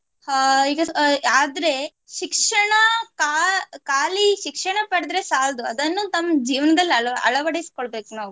ಅಹ್ ಹೀಗೆ ಅಹ್ ಆದ್ರೆ ಶಿಕ್ಷಣ ಕಾ~ ಕಾಲಿ ಶಿಕ್ಷಣ ಪಡ್ದ್ರೆ ಸಾಲ್ದು ಅದನ್ನು ತಮ್ ಜೀವನದಲ್ಲಿ ಅಳ~ ಅಳವಡಿಸಿ ಕೊಳ್ಬೇಕು ನಾವು